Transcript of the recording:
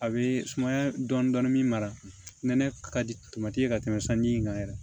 A bɛ sumaya dɔɔnin dɔɔnin min mara n'a ka di ye ka tɛmɛ sanji in kan yɛrɛ